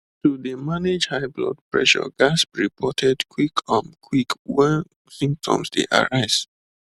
to dey manage high blood pressure ghats be reported quick um quick wen symptoms dey arise